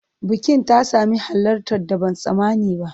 Bukin ta sami halartar da ban tsammani ba.